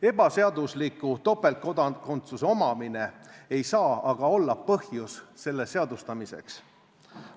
Ebaseadusliku topeltkodakondsuse omamine ei saa aga olla põhjus selle seadustamiseks.